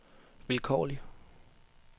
vilkårlig